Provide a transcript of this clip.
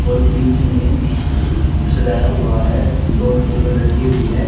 और बीच में द सजाया हुआ है दो टेबल रखी हुई है।